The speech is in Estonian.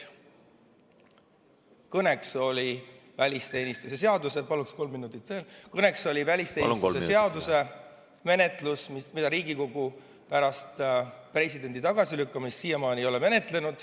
Kõne all oli välisteenistuse seadus, mida Riigikogu pärast presidendi tagasilükkamist siiamaani ei ole menetlenud.